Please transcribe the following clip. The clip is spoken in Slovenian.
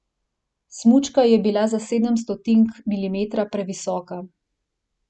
Smučka je bila za sedem stotink milimetra previsoka.